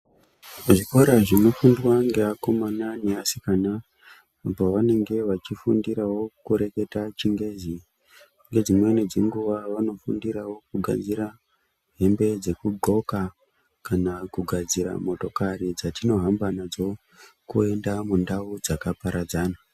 Zvikora zvinofundwa ngeakomana neasikana, paanenge vachifundirawo kureketa chingezi. Ngedzimweni dzenguva vanofundirawo kugadzira hembe dzekudxoka, kana kugadzira motokari dzatinohamba nadzo, kuenda mundau dzakaparadzana.